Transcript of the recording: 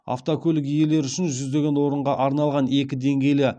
автокөлік иелері үшін жүздеген орынға арналған екі деңгейлі